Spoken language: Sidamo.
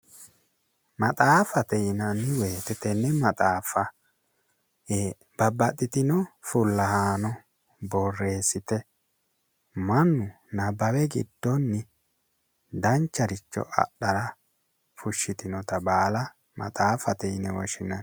maxaaffate yinanni wote tenne maxaaffa ee babbaxitino fullahaano borreessite mannu nabbawe giddonni dancharicho adhaaha fushshitinota baala maxaaffate yinanni,